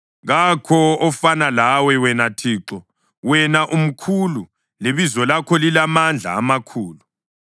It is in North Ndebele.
Kakho ofana lawe, wena Thixo, wena umkhulu, lebizo lakho lilamandla amakhulu.